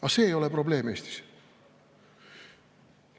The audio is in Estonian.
Aga see ei ole Eestis probleem.